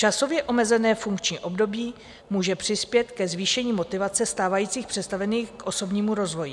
Časově omezené funkční období může přispět ke zvýšení motivace stávajících představených k osobnímu rozvoji."